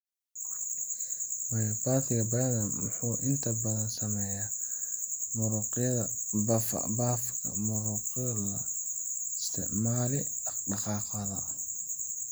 Myopathiga Bethlem wuxuu inta badan saameeyaa muruqyada lafaha, muruqyada loo isticmaalo dhaqdhaqaaqa.